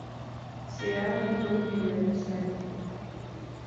сериал артур миллер писатель